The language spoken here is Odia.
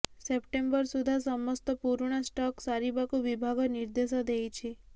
ସେପ୍ଟେମ୍ବର ସୁଦ୍ଧା ସମସ୍ତ ପୁରୁଣା ଷ୍ଟକ୍ ସାରିବାକୁ ବିଭାଗ ନିର୍ଦ୍ଦେଶ ଦେଇଛି